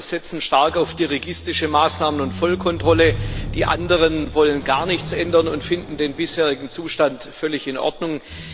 Die einen setzen stark auf dirigistische Maßnahmen und Vollekontrolle, die anderen wollen gar nichts ändern und finden den bisherigen Zustand völlig in Ordnung.